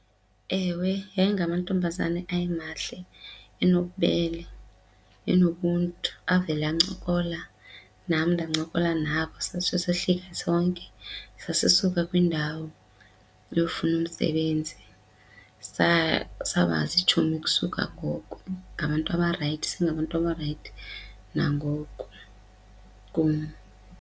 Ewe, yayingamantombazane ayemahle enobubele enobuntu avele ancokola nam ndancokola nabo satsho sehlike sonke sasisuka kwindawo yokufuna umsebenzi. Saba ziitshomi ukusuka ngoko ngabantu abarayithi isengabantu abarayithi nangoku kum.